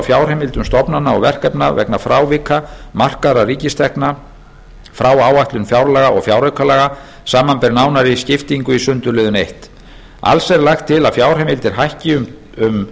fjárheimildum stofnana og verkefna vegna frávika markaðra ríkistekna frá áætlun fjárlaga og fjáraukalaga samanber nánari skiptingu í sundurliðun fyrsta alls er lagt til að fjárheimildir hækki um